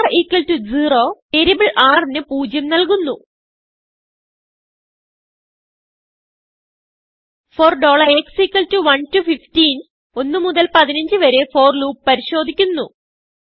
r0വേരിയബിൾ r ന് 0 നല്കുന്നു for x 1 to 151മുതൽ 15വരെ ഫോർലൂപ്പ് പരിശോദിക്കുന്നു